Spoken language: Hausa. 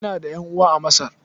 Ina da ƴan'uwa a Masar.